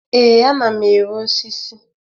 Ee, ana m ere osisi.